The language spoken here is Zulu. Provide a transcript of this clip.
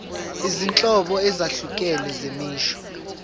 izinhlobo ezahlukene zemisho